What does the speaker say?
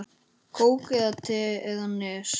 Kók eða te eða Nes?